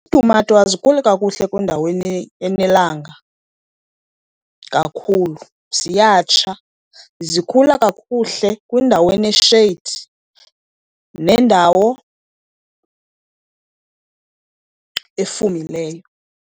Iitumato azikhuli kakuhle kwindawo enelanga kakhulu ziyatsha, zikhula kakuhle kwindawo enesheyidi nendawo efumileyo.